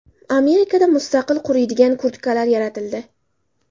Amerikada mustaqil quriydigan kurtkalar yaratildi.